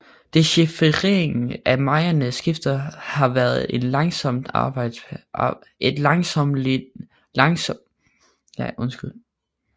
Dechifreringen af mayaernes skrifter har været et langsommeligt arbejde